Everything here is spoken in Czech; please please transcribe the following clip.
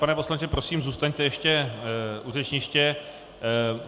Pane poslanče, prosím, zůstaňte ještě u řečniště.